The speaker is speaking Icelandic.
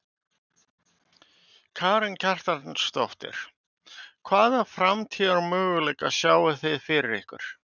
Karen Kjartansdóttir: Hvaða framtíðarmöguleika sjáið þið fyrir ykkur?